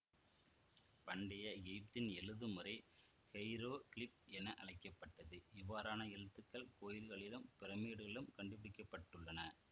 பண்டைய எகிப்தின் எழுதும் முறை ஹெய்ரோகிலிக் என அழைக்க பட்டது இவ்வாறான எழுத்துக்கள் கோவில்களிலும் பிரமிட்டுக்களிலும் கண்டுபிடிக்க பட்டுள்ளன